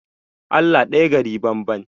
Allah ɗaya gari banban